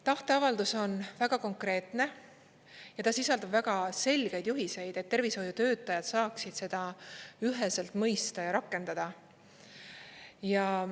Tahteavaldus on väga konkreetne ja ta sisaldab väga selgeid juhiseid, et tervishoiutöötajad saaksid seda üheselt mõista ja rakendada.